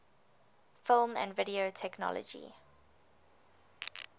film and video technology